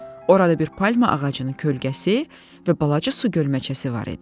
Orada bir palma ağacının kölgəsi və balaca su gölməçəsi var idi.